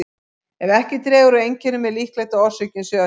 Ef ekki dregur úr einkennum er líklegt að orsökin sé önnur.